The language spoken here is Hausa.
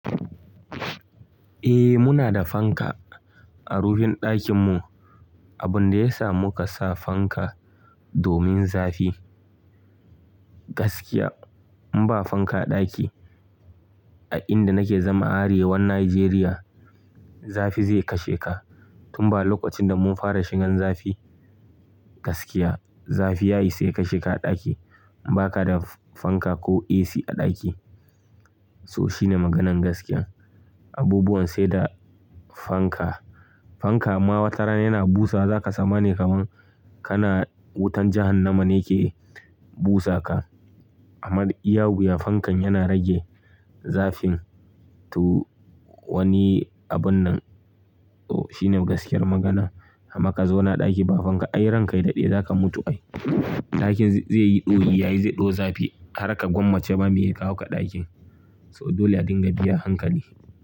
Eh muna da fanka a rufin ɗakin mu. Abun da ya sa muka sa fanka domin zafi. Gaskiya in ba fanka a ɗaki a inda nake zama Arewa Nijeriya zafi zai kashe ka. Tun ba lokacin da mun fara shigan zafi gaskiya zafi yayi sai ka sheka a ɗaki in baka da fanka ko AC a ɗaki. So shine maganan gaskiya. Abubuwan sai da fanka. Fanka amma watarana yana busa za ka zama ne kaman kana wutan jahan nama ne yake busa ka. Amma iya wuyan fankan yana rage zafin to wani abun nan to shine gaskiyar magana. Amma ka zauna ɗaki ba fanka ai ranka ya daɗe zaka mutu ai. Ɗakin zai yi ɗoyi yayi zai ɗo zafi har ka gwammace ba me ya kawo ka ɗakin. So dole a dinga biya hankali.